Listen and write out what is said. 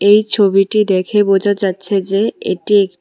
এই ছবিটি দেখে বোঝা যাচ্ছে যে এটি এ--